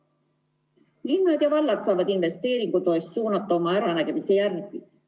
Linnad ja vallad saavad investeeringutoetust suunata oma äranägemise järgi.